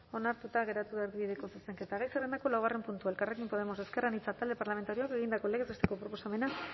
onartuta geratu da erdibideko zuzenketa gai zerrendako laugarren puntua elkarrekin podemos ezker anitza talde parlamentarioak egindako legez besteko proposamena